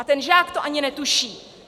A ten žák to ani netuší.